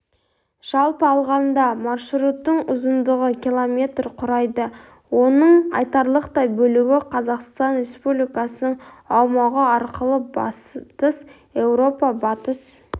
жалпы алғанда маршруттың ұзындығы км құрайды оның айтарлықтай бөлігі қазақстан республикасының аумағы арқылы батыс еуропа батыс